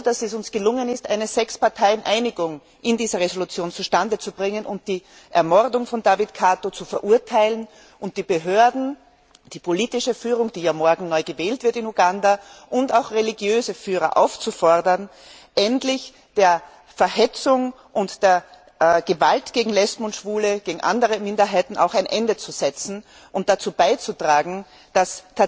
Ich bin froh, dass es uns gelungen ist, eine Sechsparteieneinigung in dieser Entschließung zustande zu bringen und die Ermordung von David Kato zu verurteilen und die Behörden, die politische Führung, die morgen in Uganda neu gewählt wird, und auch religiöse Führer aufzufordern, endlich der Verhetzung und der Gewalt gegen Lesben und Schwule und gegen andere Minderheiten ein Ende zu setzen und dazu beizutragen, dass